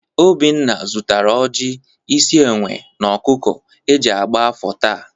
Obinna zụtara ọjị, isi enwe, na ọkụkụ e ji agba afa taa.